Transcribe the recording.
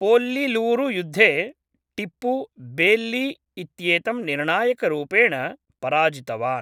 पोल्लिलूरुयुद्धे Tipu Baillie इत्येतं निर्णायकरूपेण पराजितवान्।